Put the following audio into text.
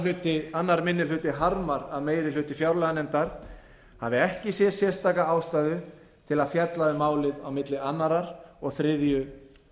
einn annar minni hluti harmar að meiri hluti fjárlaganefndar hafi ekki séð sérstaka ástæðu til að fjalla um málið á milli annars og þriðju